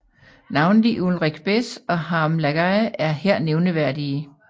Navnlig Ulrich Bez og Harm Lagaay er her nævneværdige